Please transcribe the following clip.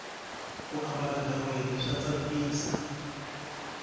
ku ambala ghaweni swa tsakisa